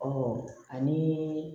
ani